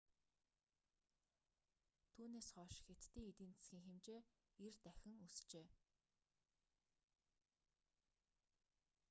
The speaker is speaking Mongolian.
түүнээс хойш хятадын эдийн засгийн хэмжээ 90 дахин өсжээ